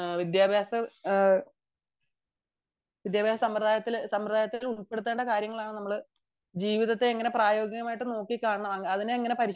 വിദ്യാഭ്യാസ സമ്പ്രദായത്തിൽ ഉൾപ്പെടുത്തേണ്ട കാര്യങ്ങൾ ആണ് നമ്മൾ ജീവിതത്തെ എങ്ങനെ പ്രയോഗികമായിട്ടു നോക്കി കാണണം അതിനെ എങ്ങനെ പരിശീലിപ്പിക്കണം